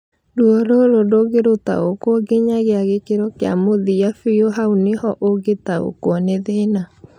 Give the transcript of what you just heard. Ruo rũrũ ndũngĩrũtaũkwo nginyagia gĩkĩro kĩa mũthia bĩũ haunĩho ũngĩtaũkwo nĩ thĩna